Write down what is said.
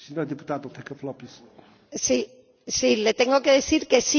Sí, le tengo que decir que sí, que la deposito.